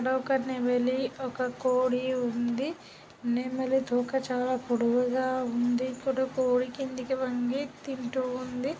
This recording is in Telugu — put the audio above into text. ఇక్కడ ఒక నెమ్మలి ఒక కోడి ఉంది. నెమ్మలి తోక చాల పొడుగుగా ఉంది. కోడి కిందకి వొంగి తింటూ ఉంది.